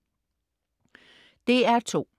DR2: